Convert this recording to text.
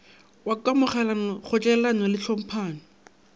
wa kamogelano kgotlelelano le tlhomphano